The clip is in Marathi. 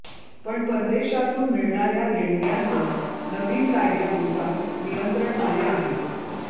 पण परदेशातून मिळणाऱ्या देणग्यांवर नवीन कायद्यानुसार नियंत्रण आले आहे